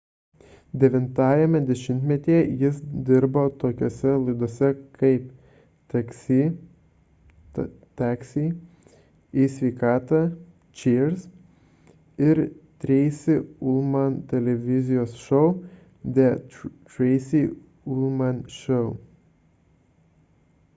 devintajame dešimtmetyje jis dirbo tokiose laidose kaip taksi taxi į sveikatą cheers ir treisi ulman televizijos šou the tracy ullman show